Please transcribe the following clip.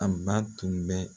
An ba tun bɛ